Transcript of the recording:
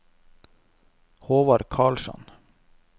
Håvard Karlsson